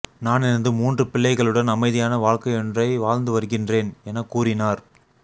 நான் எனது மூன்று பிள்ளைகளுடன் அமைதியான வாழ்க்கையொன்றை வாழ்ந்து வருகின்றேன் என கூறினார்